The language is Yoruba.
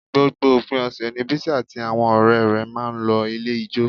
Gbogbo òpin ọ̀sẹ̀ ni Bísí àti àwọn ọ̀rẹ́ rẹ̀ máa ń lọ ilé ijó